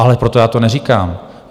Ale proto já to neříkám.